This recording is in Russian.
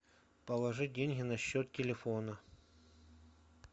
положи деньги на счет телефона